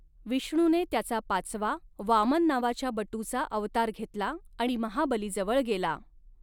विष्णूने, त्याचा पाचवा, वामन नावाच्या बटूचा अवतार घेतला आणि महाबलीजवळ गेला.